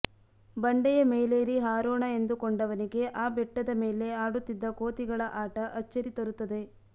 ಬಂಡೆಯ ಮೇಲೇರಿ ಹಾರೋಣ ಎಂದುಕೊಂಡವನಿಗೆ ಆ ಬೆಟ್ಟದ ಮೇಲೆ ಆಡುತ್ತಿದ್ದ ಕೋತಿಗಳ ಆಟ ಅಚ್ಚರಿ ತರುತ್ತದೆ